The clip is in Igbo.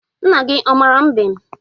Nna gị ọ mara mbem?